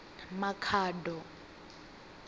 makhado